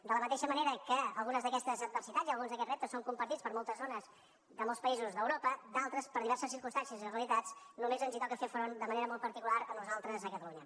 de la mateixa manera que algunes d’aquestes adversitats i alguns d’aquests reptes són compartits per moltes zones de molts països d’europa d’altres per diverses circumstàncies i realitats només ens hi toca fer front de manera molt particular a nosaltres a catalunya